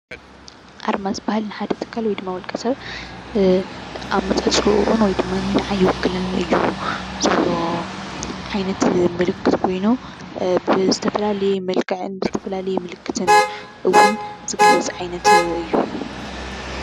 ኣርማ ዝባሃል ንሓደ ትካል ወይድማ ውልቀ ሰብ ኣመጻጽኡ ወይድማኒ ነዓይ ይውክለኒ እዩ ዝብሎ ዓይነት ምልክት ኮይኑ ብዝተፈላለዩ መልክዕን ብዝተፈላለዩ ምልክትን እዉን ዝግለፅ ዓይነት እዩ።